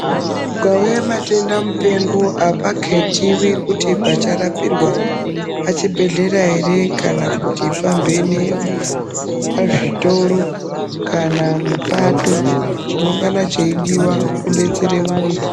Kukauye matenda mupengo apaketiwi kuti pacharapirwa pachibhehlera ere kana kuti pamhene ,pazvitoro kana mupato chinongana cheidiwa kudetsere muntu.